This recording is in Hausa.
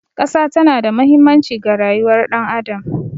Ƙasa tana da mahimmanci ga rayuwar ɗan adam.